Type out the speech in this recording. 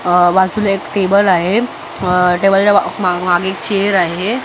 अ बाजूला एक टेबल आहे अ टेबलच्या म मागे एक चेअर आहे अ--